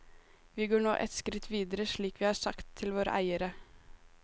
Vi går nå ett skritt videre slik vi har sagt til våre eiere.